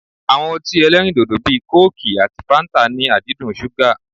Awọn ọtí ẹlẹ́rindòdò bíi kóòkì àti fáńtà ní àdídùn ṣúgà.